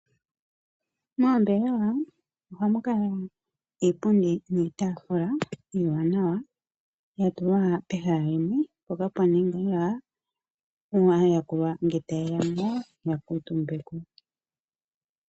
Mombelewa ohamu kala iipundi niitafula iiwanawa yatulwa pehala limwe mpoka pwaningilwa aayakulwa ngele taye yamo ya kutumbeko.